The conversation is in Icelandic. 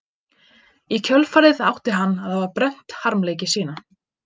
Í kjölfarið átti hann að hafa brennt harmleiki sína.